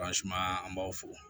an b'aw fo